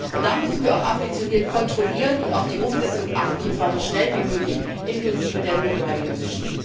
Und da müssen wir auch ambitioniert kontrollieren und auf die Umsetzung achten, und zwar so schnell wie möglich inklusive der real driving emissions